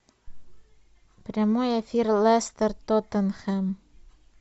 прямой эфир лестер тоттенхэм